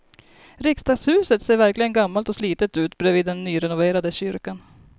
Riksdagshuset ser verkligen gammalt och slitet ut bredvid den nyrenoverade kyrkan.